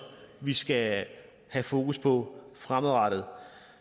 vi skal have fokus på fremadrettet